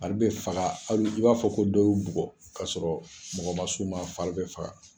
Fari bɛ faga i b'a fɔ ko dɔ y'u bugɔ k'a sɔrɔ mɔgɔ ma s'u ma fari bɛ faga